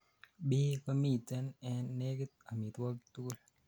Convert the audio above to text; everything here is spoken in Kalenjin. Phe komiten en negit omitwogik tugul